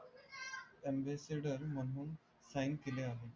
तनवे सेडेर म्हणून साईन केले आहे